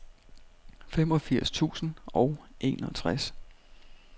femogfirs tusind og enogtres